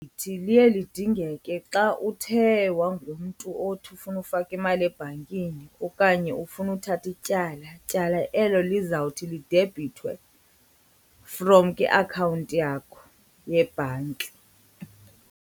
Liye lidingeke xa uthe wangumntu othi ufuna ufaka imali ebhankini okanye ufuna uthatha ityala, tyala elo lizawuthi lidebhithwe from kwiakhawunti yakho yebhanki.